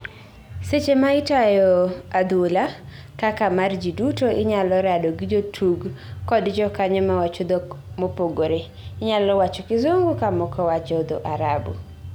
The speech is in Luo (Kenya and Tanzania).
seche ma itayo adhula kaka mar jiduto inyalo rado gi jotug kod jokanyo mawacho dhok ma opogore , inyalowacho kizungu kamoko wacho dho arabu